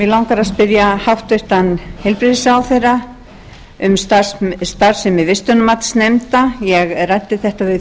langar að spyrja hæstvirtan heilbrigðisráðherra um starfsemi vistunarmatsnefnda ég ræddi þetta við